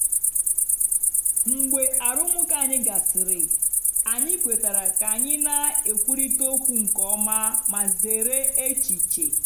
mgbe arụmụka anyị gasịrị anyị kwetara ka anyị na-ekwurịta okwu nke ọma ma zere echiche.